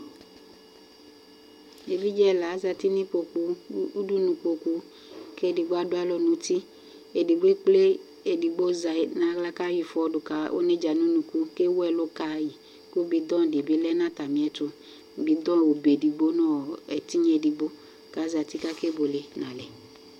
Evidze ɛna azǝtɩ nʋ ʋdʋnʋ ɩkpokʋ, kʋ edigb adʋ alɔ nʋ uti Edigbo ekple edigbo zɛ nʋ aɣla kʋ ayɔ ɩfɔ dʋ ka onedzǝ nʋ unuku, kʋ ewu ɛlʋ kayi, kʋ bɩdɔŋ dɩ bɩ lɛ nʋ atamɩ ɛtʋ : bɩdɔŋ obe edigbo nʋ ɛtɩnya edigbo, kʋ azǝtɩ, kʋ akebʋele nʋ alɛ